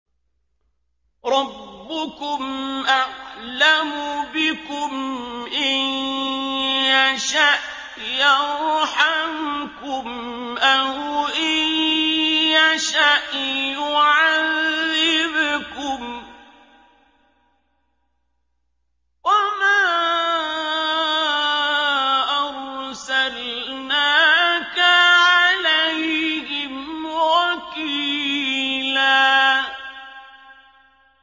رَّبُّكُمْ أَعْلَمُ بِكُمْ ۖ إِن يَشَأْ يَرْحَمْكُمْ أَوْ إِن يَشَأْ يُعَذِّبْكُمْ ۚ وَمَا أَرْسَلْنَاكَ عَلَيْهِمْ وَكِيلًا